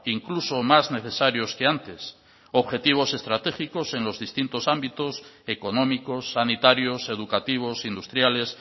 incluso más necesarios que antes objetivos estratégicos en los distintos ámbitos económicos sanitarios educativos industriales